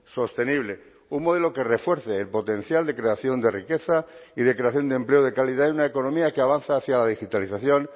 sostenible un modelo que refuerce el potencial de creación de riqueza y de creación de empleo de calidad y una economía que avanza hacia la digitalización